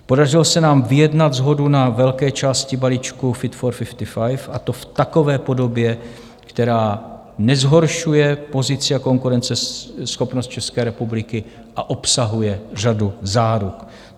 Podařilo se nám vyjednat shodu na velké části balíčku Fit for 55, a to v takové podobě, která nezhoršuje pozici a konkurenceschopnost České republiky a obsahuje řadu záruk.